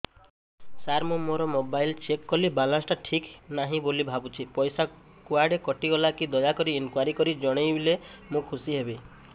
ସାର ମୁଁ ମୋର mobile check କଲି ବାଲାନ୍ସ ଟା ଠିକ ନାହିଁ ବୋଲି ଭାବୁଛି ପଇସା କୁଆଡେ କଟି ଗଲା କି ଦୟାକରି ଇନକ୍ୱାରି କରି ଜଣାଇଲେ ମୁଁ ଖୁସି ହେବି